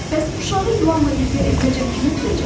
Bəs uşağı ilanla birgə evinəcən kim ötürəcək?